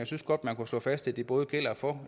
synes godt man kunne slå fast at det både gælder for